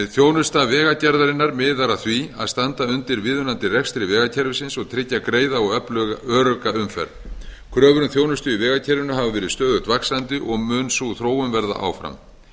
þjónusta vegagerðarinnar miðar að því að standa undir viðunandi rekstri vegakerfisins og tryggja greiða og örugga umferð kröfur um þjónustu á vegakerfinu hafa verið stöðugt vaxandi og mun sú þróun verða áfram